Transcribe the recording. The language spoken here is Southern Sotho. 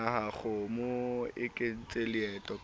kgomo e kentse leoto ka